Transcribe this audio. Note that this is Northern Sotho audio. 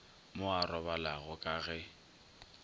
mo a robalago ka ge